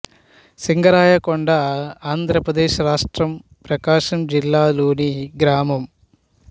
సింగరాయకొండ ఆంధ్ర ప్రదేశ్ రాష్ట్రం ప్రకాశం జిల్లా లోని గ్రామం